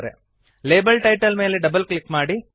label title ಮೇಲೆ double click ಮಾಡಿ